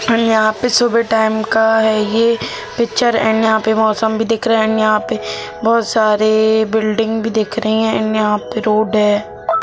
And यहां पर सुबह के टाइम का ए पिक्चर एंड यहां पे मौसम दिख रहा है एंड यहां पर बहुत सारे बिल्डिंग भी दिख रहे हैं एंड यहाँ पे रोड है।